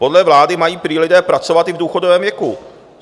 Podle vlády mají lidé prý pracovat i v důchodovém věku.